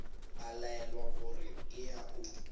a laelwa gore eya o